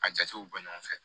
A jatew bɔ ɲɔgɔn fɛ